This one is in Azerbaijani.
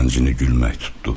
Zəncini gülmək tutdu.